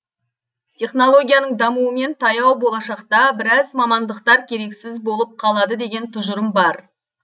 технологияның дамуымен таяу болашақта біраз мамандықтар керексіз болып қалады деген тұжырым бар